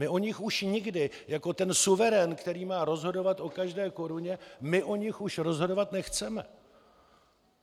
My o nich už nikdy, jako ten suverén, který má rozhodovat o každé koruně, my o nich už rozhodovat nechceme.